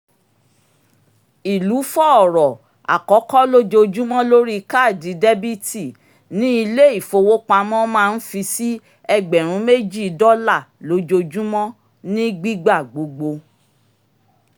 ìlúfọ̀ọ̀rọ̀ àkọ́kọ́ lójoojúmọ́ lórí káàdì debiti ni ilé-ifowopamọ́ maa ń fi sí ẹgbẹ̀rún méjì dọ́là lójoojúmọ́ ní gbígbà gbogbo